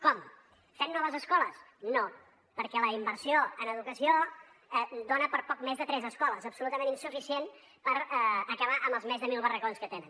com fent noves escoles no perquè la inversió en educació dona per a poc més de tres escoles absolutament insuficient per acabar amb els més de mil barracons que tenen